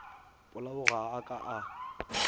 polao ga a ka a